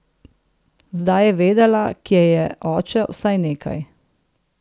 Zdaj je vedela, kje je oče, vsaj nekaj.